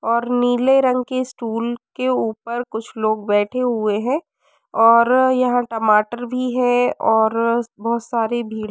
और नीले रंग की स्टूल के ऊपर कुछ लोग बैठे हुए हैं। और यहाँ टमाटर भी है और बहुत सारी भीड़ --